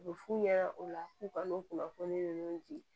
U bɛ f'u ɲɛna o la k'u ka n'u kunnafoni di